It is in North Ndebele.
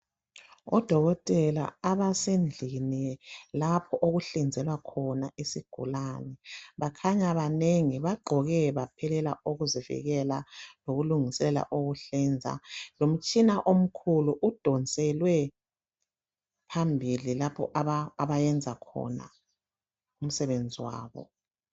Odokotela abasendlini lapho okuhlinzelwa khona isigulane. Bakhanya banengi, bagqoke baphelela ukuzivikela lokulungisela ukuhlinza lomtshina omkhulu udonselwe phambili lapho abayenza khona use wabo.